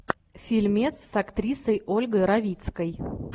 фильмец с актрисой ольгой равицкой